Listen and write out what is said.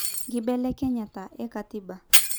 Nkibelekenyat ekatiba.